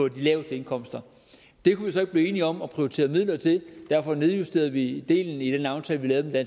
laveste indkomster det kunne vi så ikke blive enige om at prioritere midler til og derfor nedjusterede vi den del i den aftale vi lavede med